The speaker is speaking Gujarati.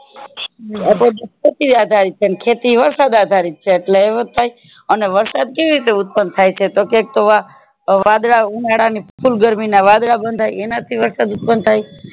આધારિત છે ને ખેતી વરસાદ આધારિત છે એટલે એમજ થાય અને વરસાદ કેવી રીતે ઉત્પન થાય છે તો કે તો આ વાદળાઉનાળા ની full ગરમી ના વાદળા બંધાય એનાથી વરસાદ ઉત્પન થાય